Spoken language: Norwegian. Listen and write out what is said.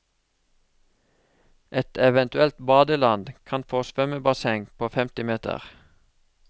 Et eventuelt badeland kan få svømmebasseng på femti meter.